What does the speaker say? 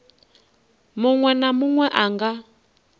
munwe na munwe a nga